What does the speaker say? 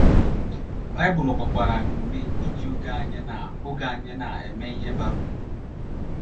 Baịbụl gbakwara anyị ume iji oge anyị na oge anyị na - eme ihe bara uru.